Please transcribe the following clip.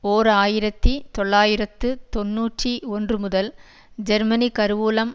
ஓர் ஆயிரத்தி தொள்ளாயிரத்து தொன்னூற்றி ஒன்றுமுதல் ஜெர்மனி கருவூலம்